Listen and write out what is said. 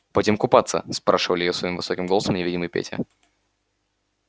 пойдём купаться спрашивал её своим высоким голосом невидимый петя